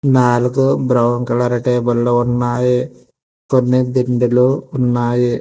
నాలుగు brown colour table లు ఉన్నాయి కొన్ని దిండులు ఉన్నాయి.